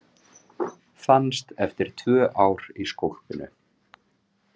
Fannst eftir tvö ár í skolpinu